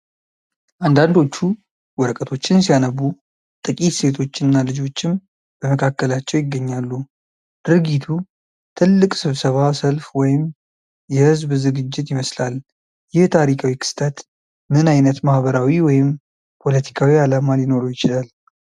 አንዳንዶቹ ወረቀቶችን ሲያነቡ፣ ጥቂት ሴቶች እና ልጆችም በመካከላቸው ይገኛሉ። ድርጊቱ ትልቅ ስብሰባ፣ ሰልፍ ወይም የሕዝብ ዝግጅት ይመስላል። ይህ ታሪካዊ ክስተት ምን ዓይነት ማህበራዊ ወይም ፖለቲካዊ ዓላማ ሊኖረው ይችላል?